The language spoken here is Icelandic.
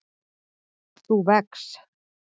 þú vex.